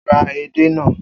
O ra édè na